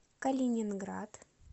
калининград